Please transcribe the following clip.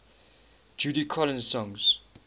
judy collins songs